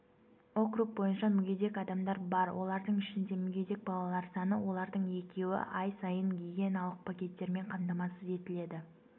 округ бойынша мүгедек адамдар бар олардың ішінде мүгедек балалар саны олардың екеуі ай сайын гигиеналық пакеттермен қамтамасыз етіледі